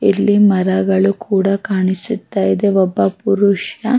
ಇಲ್ಲಿ ಮರಗಳು ಕೂಡ ಕಾಣಿಸುತ ಇದೆ ಒಬ್ಬ ಪುರುಷ --